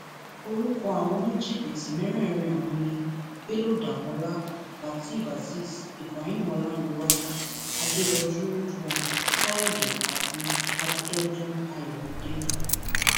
orúkọ àwọn oníjìbìtì mẹrẹẹrin ọhún ni bello damola lateef azeez ibrahim ọlárẹwájú adẹrọjú ridwan káyọdé àti abidọdún ayọmídé